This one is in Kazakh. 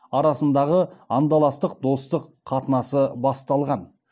арасындағы андаластық достық қатынасы басталған